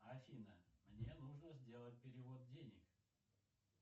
афина мне нужно сделать перевод денег